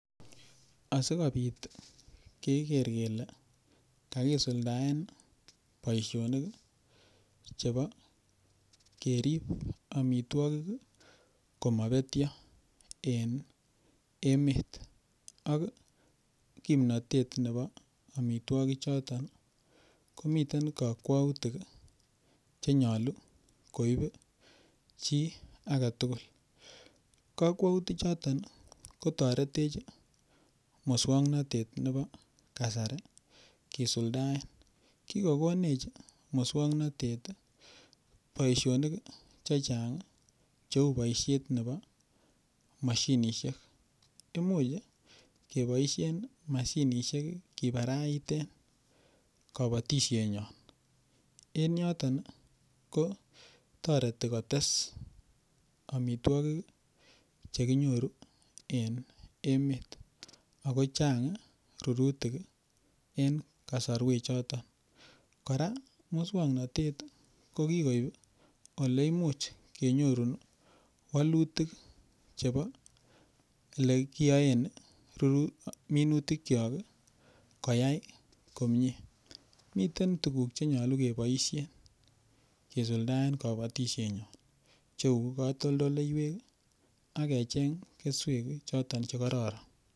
Asikobit keker kele kakisuldaen boishonik chebo kerip omitwokik komabetyo en emet ak kimnatet nebo omitwokichoto komiten kakwoutik chenyolu koib chi agetugul kakwoutik choton kotoretech muswong'natet nebo kasari kisuldaen kikokonech muswong'natet boishonik chechang' cheu boishet nebo mashinishek imuuch keboishen mashinishek kibaraiten kabotishe nyon en nyuton ko toreti kotes omitwokik chekinyoru en emet ako chang' rurutik en kasarwechoton kora muswong'natet ko kikoib ole imuch kenyorune wolutik chebo ole kiyoen minutik cho koyait komye miten tukuk chenyolu keboishen kesuldaen kabatishe nyon cheu katoldoleiwek ak kecheng' keswek choton chekororon